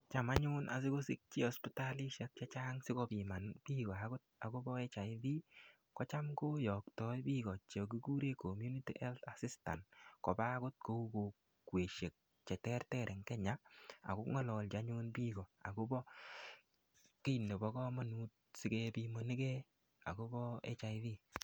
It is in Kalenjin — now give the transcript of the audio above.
Cham anyun asikosich hospitalishek chechang asikopiman biiko akot akobo HIV ko cham koyoktoi biko chekikure community health assistant koba akot kou kokweshek che ter ter eng Kenya ako ngololchi anyun biko akobo kiy nebo komonut asikebimanike akobo HIV